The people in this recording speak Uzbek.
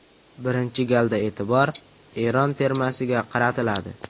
Birinchi galda e’tibor Eron termasiga qaratiladi.